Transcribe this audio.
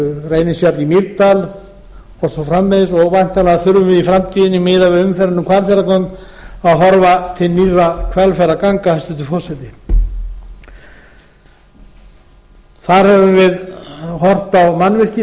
reynisfjall í mýrdal og svo framvegis og væntanlega þurfum við í framtíðinni miðað við umferðina um hvalfjarðargöng að horfa til nýrra hvalfjarðarganga hæstvirtur forseti þar höfum við horft á mannvirki